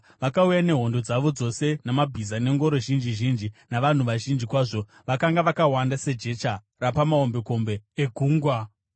Vakauya nehondo dzavo dzose namabhiza nengoro zhinji zhinji, navanhu vazhinji kwazvo, vakanga vakawanda sejecha rapamahombekombe egungwa.